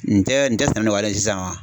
Nin tɛ sɛnɛ nɔkɔyalen sisan wa?